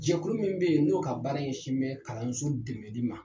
Jɛkulu min bɛ yen, n'o ka baara ɲɛsin bɛ kalanso dɛmɛli ma